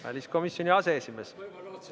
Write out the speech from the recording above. Väliskomisjoni aseesimees.